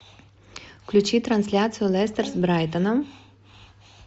включи трансляцию лестер с брайтоном